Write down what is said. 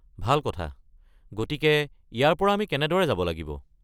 ভাল কথা। গতিকে ইয়াৰ পৰা আমি কেনেদৰে যাব লাগিব?